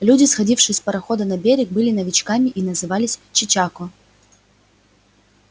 люди сходившие с парохода на берег были новичками и назывались чечако